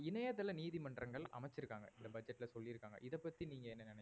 இணையதள நீதிமன்றங்கள் அமைச்சிருக்காங்க இந்த budget ல சொல்லிருக்காங்க இத பத்தி நீங்க என்ன நினைக்கிறீங்க?